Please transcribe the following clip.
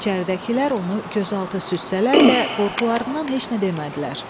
İçəridəkilər onu gözaltı süzsələr də, qorxularından heç nə demədilər.